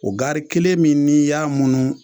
O gari kelen min n'i y'a munu